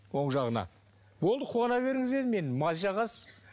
оң жағына болды қуана беріңіз дедім енді мазь жағасыз